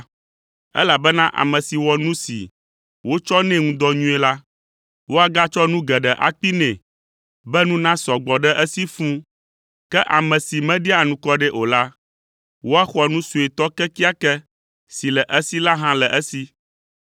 elabena ame si wɔ nu si wotsɔ nɛ ŋu dɔ nyuie la, woagatsɔ nu geɖe akpee nɛ, be nu nasɔ gbɔ ɖe esi fũu. Ke ame si meɖia anukware o la, woaxɔ nu suetɔ kekeake si le esi la hã le esi.